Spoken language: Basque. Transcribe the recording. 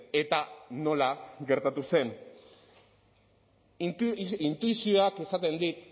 eta nola gertatu zen intuizioak esaten dit